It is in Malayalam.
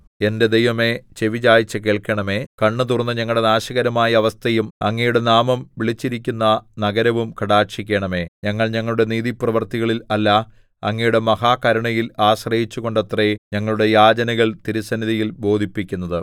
എന്റെ ദൈവമേ ചെവിചായിച്ച് കേൾക്കണമേ കണ്ണ് തുറന്ന് ഞങ്ങളുടെ നാശകരമായ അവസ്ഥയും അങ്ങയുടെ നാമം വിളിച്ചിരിക്കുന്ന നഗരവും കടാക്ഷിക്കണമേ ഞങ്ങൾ ഞങ്ങളുടെ നീതിപ്രവൃത്തികളിൽ അല്ല അങ്ങയുടെ മഹാകരുണയിൽ ആശ്രയിച്ചുകൊണ്ടത്രെ ഞങ്ങളുടെ യാചനകൾ തിരുസന്നിധിയിൽ ബോധിപ്പിക്കുന്നത്